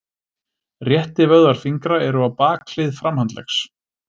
Réttivöðvar fingra eru á bakhlið framhandleggs.